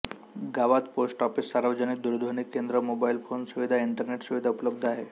गावात post office सार्वजनिक दूरध्वनी केंद्र मोबाईल फोन सुविधा इंटरनेट सुविधा उपलब्ध आहे